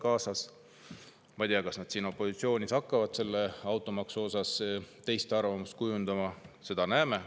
Ma ei tea, kas nad opositsioonis hakkavad automaksu kohta teist arvamust kujundama, seda näeme.